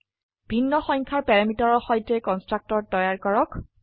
ভিন্ন সংখ্যাৰ প্যাৰামিটাৰৰ সৈতে কন্সট্ৰকটৰ তৈয়াৰ কৰক